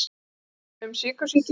Nokkur atriði um sykursýki.